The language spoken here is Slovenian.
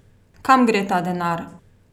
Kam gre ta denar?